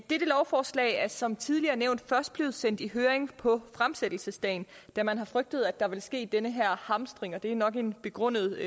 dette lovforslag er som tidligere nævnt først blevet sendt i høring på fremsættelsesdagen da man har frygtet at der ville ske den her hamstring og det er nok en begrundet